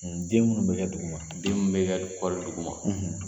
Den minnu bɛ kɛ duguma, den minnu bɛ ka kɔɔrɔ duguma